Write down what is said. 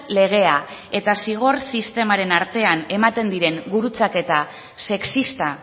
legea eta zigor sistemaren artean ematen diren gurutzaketa sexista